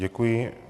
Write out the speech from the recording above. Děkuji.